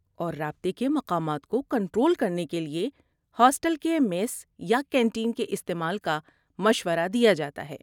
اور رابطے کے مقامات کو کنٹرول کرنے کے لیے ہاسٹل کے میس یا کینٹین کے استعمال کا مشورہ دیا جاتا ہے۔